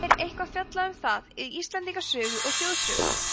er eitthvað fjallað um það í íslendingasögu og þjóðsögum